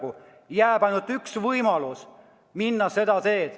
Nii jääb ainult üks võimalus: minna seda teed.